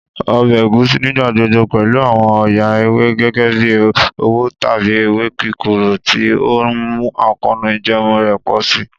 Ọbẹ Egusi nigbagbogbo pẹlu awọn ọya ewe gẹgẹbi owo tabi ewe kikoro, ti o nmu akoonu ijẹẹmu rẹ pọ si.